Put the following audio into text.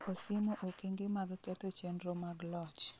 osiemo okenge mag ketho chenro mag loch